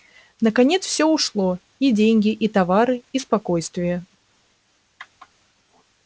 наконец всё ушло и деньги и товары и спокойствие